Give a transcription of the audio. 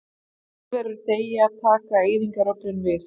Þegar lífverur deyja taka eyðingaröflin við.